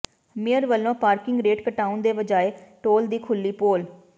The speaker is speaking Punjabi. ਮੇਅਰ ਵਲੋਂ ਪਾਰਕਿੰਗ ਰੇਟ ਘਟਾਉਣ ਦੇ ਵਜਾਏ ਢੋਲ ਦੀ ਖੁੱਲ੍ਹੀ ਪੋਲ